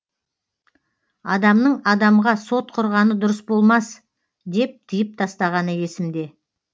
адамның адамға сот құрғаны дұрыс болмас деп тиып тастағаны есімде